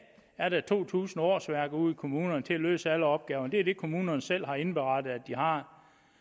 er der to tusind årsværk ude i kommunerne til at løse alle opgaverne det er det kommunerne selv har indberettet de har